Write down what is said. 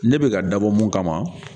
Ne bɛka ka dabɔ mun kama